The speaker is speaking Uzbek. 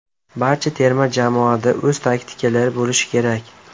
Barcha terma jamoada o‘z taktikalari bo‘lishi kerak.